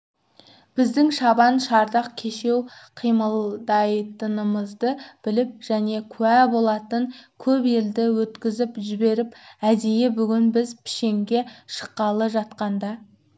біздің шабан-шардақ кешеу қимылдайтынымызды біліп және куә болатын көп елді өткізіп жіберіп әдейі бүгін біз пішенге шыққалы жатқанда